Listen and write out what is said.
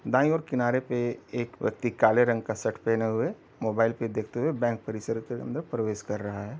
दाईं ओर किनारे पे एक व्यक्ति काले रंग का शर्ट पहने हुए मोबाइल पे देखते हुए बैंक परिसर से अन्दर प्रवेश कर रहा है।